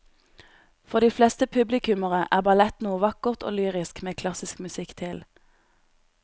For de fleste publikummere er ballett noe vakkert og lyrisk med klassisk musikk til.